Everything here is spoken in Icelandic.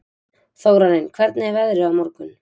Þórarinn, hvernig er veðrið á morgun?